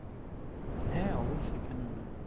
হ্যাঁ অবশ্যই কেন নই